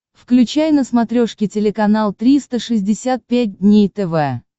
включай на смотрешке телеканал триста шестьдесят пять дней тв